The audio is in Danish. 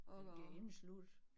Det bliver indesluttet